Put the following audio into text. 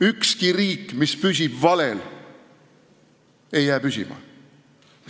Ükski riik, mis püsib valel, ei jää püsima!